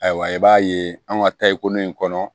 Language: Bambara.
Ayiwa i b'a ye an ka tariku in kɔnɔ